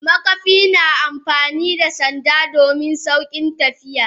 Makafi na amfani da sanda domin saukin tafiya.